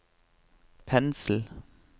pensel